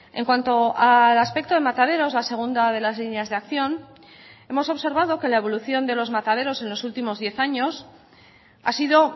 en cuanto al aspecto de mataderos la segunda de las líneas de acción hemos observado que la evolución de los mataderos en los últimos diez años ha sido